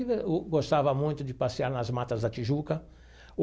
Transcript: Eu gostava muito de passear nas matas da Tijuca o.